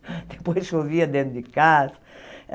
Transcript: Depois chovia dentro de casa.